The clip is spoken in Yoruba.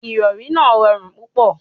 Ìrọrí náà rọrùn púpọ̀.